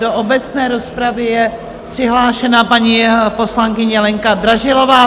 Do obecné rozpravy je přihlášená paní poslankyně Lenka Dražilová.